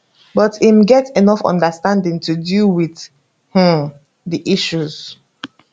but im get enough understanding to deal wit um di issues